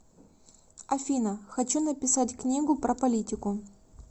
афина хочу написать книгу про политику